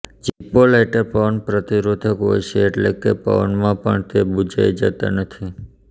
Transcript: Zippo lighter પવન પ્રતિરોધક હોય છે એટલે કે પવનમાં પણ તે બૂઝાઇ જતાં નથી